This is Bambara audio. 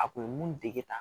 A kun bɛ mun dege ta